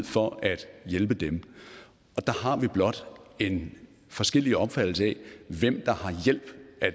for at hjælpe dem der har vi blot en forskellig opfattelse af hvem